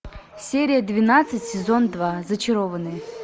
серия двенадцать сезон два зачарованные